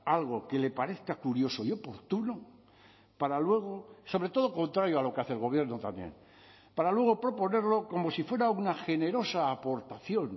algo que le parezca curioso y oportuno para luego sobre todo contrario a lo que hace el gobierno también para luego proponerlo como si fuera una generosa aportación